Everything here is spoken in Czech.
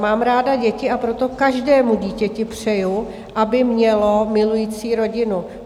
Mám ráda děti, a proto každému dítěti přeji, aby mělo milující rodinu.